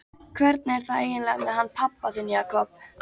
Hvernig er það eiginlega með hann pabba þinn, Jakob?